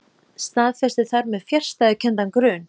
Staðfesti þar með fjarstæðukenndan grun.